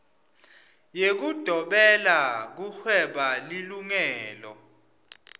yekudobela kuhweba lilungelo